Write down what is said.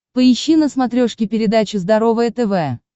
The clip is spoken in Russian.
поищи на смотрешке передачу здоровое тв